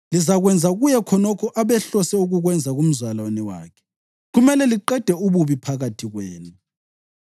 lizakwenza kuye khonokho abehlose ukukwenza kumzalwane wakhe. Kumele liqede ububi phakathi kwenu.